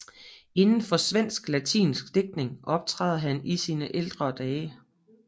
Inden for svensklatinsk digtning optræder han i sine ældre dage